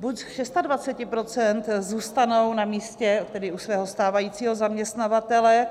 Buď z 26 % zůstanou na místě, tedy u svého stávajícího zaměstnavatele